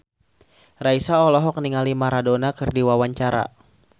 Raisa olohok ningali Maradona keur diwawancara